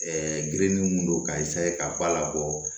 girinni mun don ka ka ba la bɔ